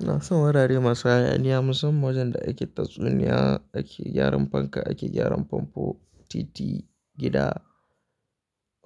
Ina son wurare masu hayaniya musamman wajen da ake tatsuniya, ake gyaran fanka, ake gyaran famfo, titi, gida,